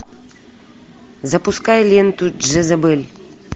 запускай ленту джезабель